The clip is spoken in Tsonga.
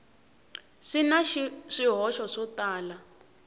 swi na swihoxo swo tala